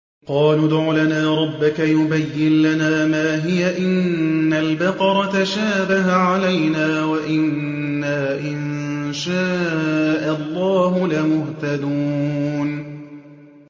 قَالُوا ادْعُ لَنَا رَبَّكَ يُبَيِّن لَّنَا مَا هِيَ إِنَّ الْبَقَرَ تَشَابَهَ عَلَيْنَا وَإِنَّا إِن شَاءَ اللَّهُ لَمُهْتَدُونَ